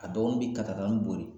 A dɔgɔnin bi kata katani bori